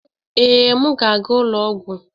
Ee, m ga-aga ụlọ ọgwụ